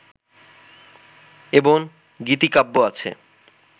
এবং গীতিকাব্য আছে